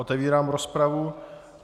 Otevírám rozpravu.